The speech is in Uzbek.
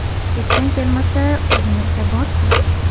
Chetdan kelmasa, o‘zimizda bor-ku.